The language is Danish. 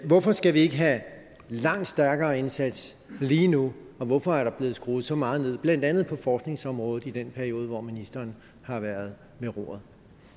hvorfor skal vi ikke have en langt stærkere indsats lige nu og hvorfor er der blevet skruet så meget ned for blandt andet forskningsområdet i den periode hvor ministeren har været ved roret